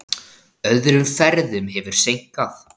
Öðrum ferðum hefur seinkað.